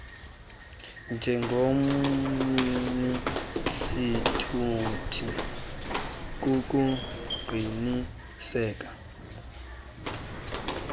njengomnini sithuthi kukuqinisekisa